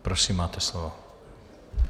Prosím, máte slovo.